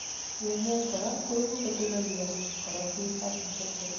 yenyet korak koibu kotelelyo korotik ak infections